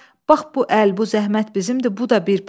Bax bu əl, bu zəhmət bizimdir, bu da bir pay.